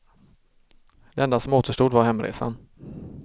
Det enda som återstod var hemresan.